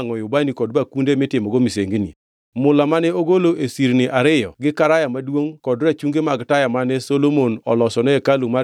Jatend jolweny marito ruoth nokawo gik moko duto molos gi dhahabu kata fedha ma gin gima iwangʼoe ubani kod bakunde mitimogo misengini.